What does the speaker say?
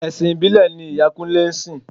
Ẹ̀sìn ìbílẹ̀ ni ìyá Kúnlẹ́ sìn.